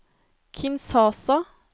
Kinshasa